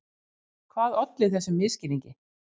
Hvað olli þessum misskilningi?